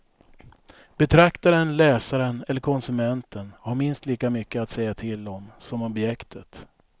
Betraktaren, läsaren eller konsumenten har minst lika mycket att säga till om som objektet.